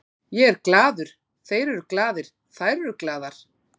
Ég er glaður, þeir eru glaðir, þær eru glaðar.